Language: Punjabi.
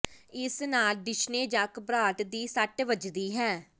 ਇਸ ਨਾਲ ਡਿਸ਼ਨੇ ਜਾਂ ਘਬਰਾਹਟ ਦੀ ਸੱਟ ਵੱਜਦੀ ਹੈ